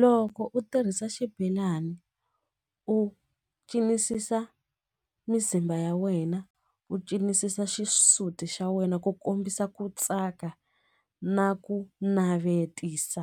Loko u tirhisa xibelani u cinisisa mizimba ya wena u cinisisa xisuti xa wena ku kombisa ku tsaka ka na ku navetisa